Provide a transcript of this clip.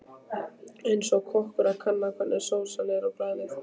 Eins og kokkur að kanna hvernig sósa er á bragðið.